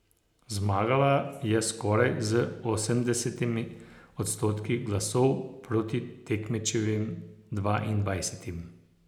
Zmagala je skoraj z osemdesetimi odstotki glasov proti tekmečevim dvaindvajsetim.